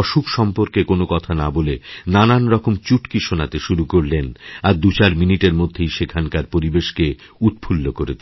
অসুখ সম্পর্কে কোন কথা না বলে নানারকম চুটকি শোনাতেশুরু করলেন আর দুচার মিনিটের মধ্যেই সেখানকার পরিবেশকে উৎফুল্ল করে তুললেন